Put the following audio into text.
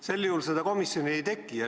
Sel juhul seda komisjoni ei teki.